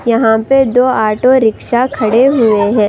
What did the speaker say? यहां पे दो ऑटो रिक्शा खड़े हुए हैं।